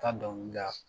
Ka dɔnkili da